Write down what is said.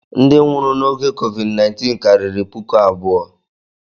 Ndị nwụrụ n'oge COVID-19 karịrị puku abụọ.